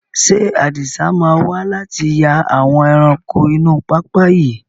Ṣé Adisa máa wà láti yà àwọn ẹranko inú pápá yìí?